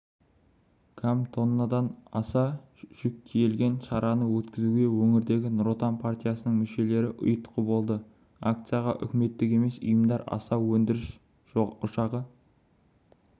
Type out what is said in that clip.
кам тоннадан аса жүк тиелген шараны өткізуге өңірдегі нұр отан партиясының мүшелері ұйытқы болды акцияға үкіметтік емес ұйымдар аса өндіріс ошағы